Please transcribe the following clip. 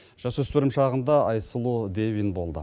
жасөспірім шағында айсұлу дэвин болды